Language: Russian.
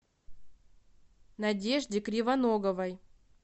надежде кривоноговой